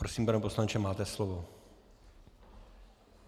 Prosím, pane poslanče, máte slovo.